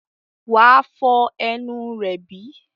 wà á fọ ẹnu rẹ bí?